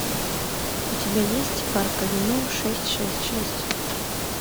у тебя есть парк авеню шесть шесть шесть